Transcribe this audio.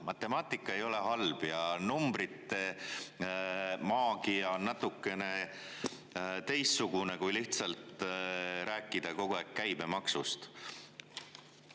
Matemaatika ei ole halb ja numbrite maagia on natukene teistsugune kui lihtsalt rääkida kogu aeg käibemaksust.